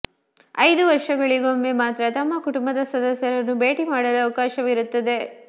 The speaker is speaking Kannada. ಐದು ವರ್ಷಗಳಿಗೊಮ್ಮೆ ಮಾತ್ರ ತಮ್ಮ ಕುಟುಂಬದ ಸದಸ್ಯರನ್ನು ಭೇಟಿ ಮಾಡಲು ಅವಕಾಶ ಇರುತ್ತದೆ